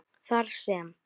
Þar sem